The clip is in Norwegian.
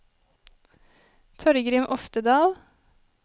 Torgrim Oftedal